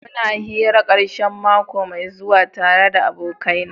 Muna hira karshen mako mai zuwa tare da abokaina.